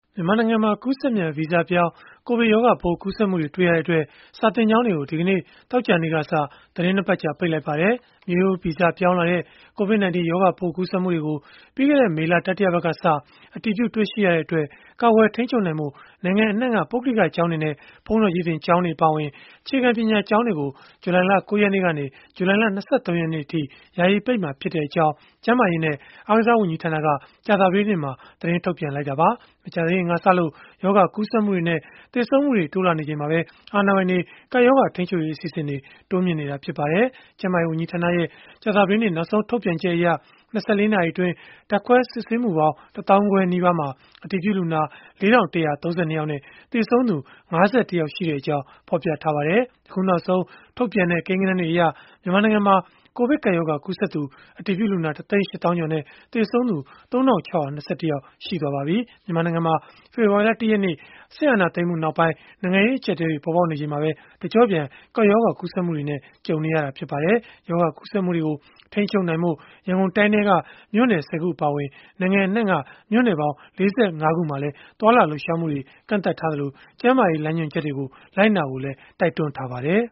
မြန်မာနိုင်ငံမှာ ကူးစက်မြန် ဗီဇပြောင်း ကိုဗစ်ရောဂါပိုး ကူးစက်မှုတွေ တွေ့ရှိရတဲ့အတွက် စာသင်ကျောင်းတွေကို ဒီကနေ့ သောကြာနေ့ကစ သီတင်း ၂ ပတ် ကြာ ပိတ်လိုက်ပါတယ်။ မျိုးရိုးဗီဇပြောင်းလဲလာတဲ့ COVID-19 ရောဂါပိုး ကူးစက်မှုတွေကို ပြီးခဲ့တဲ့ မေလ တတိယပတ်ကစ အတည်ပြု တွေ့ရှိရတဲ့အတွက် ကာကွယ်ထိန်းချုပ်နိုင်ဖို့ နိုင်ငံအနှံ့က ပုဂ္ဂလိကကျောင်းတွေနဲ့ ဘုန်းတော်ကြီးသင် ကျောင်းတွေအပါအဝင် အခြေခံပညာ ကျောင်းတွေကို ဇူလိုင်လ ၉ ရက်နေ့ကနေ ဇူလိုင်လ ၂၃ ရက်နေ့အထိ ယာယီပိတ်မှာဖြစ်ကြောင်း ကျန်းမာရေးနဲ့ အားကစား ဝန်ကြီးဌာနက ကြာသပတေးနေ့မှာပဲ သတင်းထုတ်ပြန်ခဲ့တာပါ။ မကြာသေးခင်ကစလို့ ရောဂါကူးစက်မှုတွေနဲ့ သေဆုံးမှုတွေ တိုးလာနေချိန်မှာပဲ အာဏာပိုင်တွေ ကပ်ရောဂါ ထိန်းချုပ်ရေး အစီအစဉ်တွေကို တိုးမြှင့်နေတာ ဖြစ်ပါတယ်။ ကျန်းမာရေး ဝန်ကြီးဌာနရဲ့ ကြာသပတေးနေ့ နောက်ဆုံး ထုတ်ပြန်ချက်အရ ၂၄ နာရီအတွင်း ဓာတ်ခွဲ စစ်ဆေးမှုပေါင်း ၁ သောင်းခွဲနီးပါးမှာ အတည်ပြုလူနာ ၄,၁၃၂ ယောက်နဲ့ သေဆုံးသူ ၅၁ ယောက်ရှိကြောင်း ဖော်ပြထားပါတယ်။ အခုနောက်ဆုံး ထုတ်ပြန်တဲ့ ကိန်းဂဏန်းတွေအရ မြန်မာနိုင်ငံမှာ ကိုဗစ်ကပ်ရောဂါ ကူးစက်သူအတည်ပြုလူနာ ၁ သိန်း ၈ သောင်းကျော်နဲ့ သေဆုံးသူ ၃,၆၂၁ ယောက် ရှိသွားပါပြီ။ မြန်မာနိုင်ငံမှာ ဖေဖော်ဝါရီလ ၁ ရက်နေ့ စစ်အာဏာသိမ်းမှုနောက်ပိုင်း နိုင်ငံရေး အကျပ်အတည်းတွေ ပေါ်ပေါက်နေချိန်မှာပဲ တကျော့ပြန် ကပ်ရောဂါကူးစက်မှုနဲ့ ကြုံနေရလည်း ဖြစ်ပါတယ်။ ရောဂါကူးစက်မှုတွေကို ထိန်းချုပ်နိုင်ဖို့ ရန်ကုန်တိုင်းထဲက မြို့နယ် ၁၀ ခု အပါအဝင် နိုင်ငံအနှံ့က မြို့နယ်ပေါင်း ၄၅ ခုမှာလည်း သွားလာလှုပ်ရှားမှုတွေကို ကန့်သတ်လိုက်သလို၊ ကျန်းမာရေး လမ်းညွှန်ချက်တွေကို လိုက်နာဖို့လည်း တိုက်တွန်းထားပါတယ်